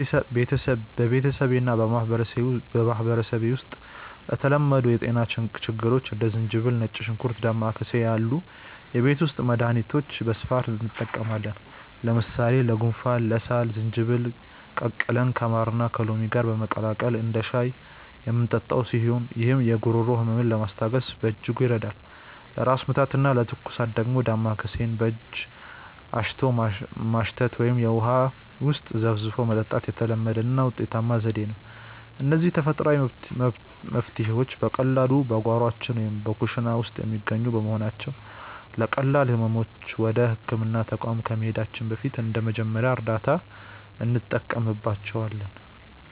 በቤተሰቤና በማኅበረሰቤ ውስጥ ለተለመዱ የጤና ችግሮች እንደ ዝንጅብል፣ ነጭ ሽንኩርትና ዳማከሴ ያሉ የቤት ውስጥ መድኃኒቶችን በስፋት እንጠቀማለን። ለምሳሌ ለጉንፋንና ለሳል ዝንጅብልን ቀቅለን ከማርና ከሎሚ ጋር በማቀላቀል እንደ ሻይ የምንጠጣው ሲሆን፣ ይህም የጉሮሮ ሕመምን ለማስታገስ በእጅጉ ይረዳል። ለራስ ምታትና ለትኩሳት ደግሞ ዳማከሴን በእጅ አሽቶ ማሽተት ወይም ውሃ ውስጥ ዘፍዝፎ መጠጣት የተለመደና ውጤታማ ዘዴ ነው። እነዚህ ተፈጥሯዊ መፍትሔዎች በቀላሉ በጓሯችን ወይም በኩሽና ውስጥ የሚገኙ በመሆናቸው፣ ለቀላል ሕመሞች ወደ ሕክምና ተቋም ከመሄዳችን በፊት እንደ መጀመሪያ እርዳታ እንጠቀምባቸዋለን።